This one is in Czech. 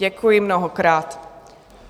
Děkuji mnohokrát.